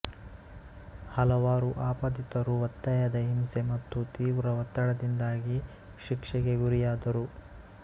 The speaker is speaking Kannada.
ಹಲವಾರು ಆಪಾದಿತರು ಒತ್ತಾಯದ ಹಿಂಸೆ ಮತ್ತು ತೀವ್ರ ಒತ್ತಡದಿಂದಾಗಿ ಶಿಕ್ಷೆಗೆ ಗುರಿಯಾದರು